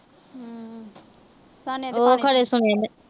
ਹੂੰ।